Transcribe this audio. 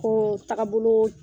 Oo taa boloo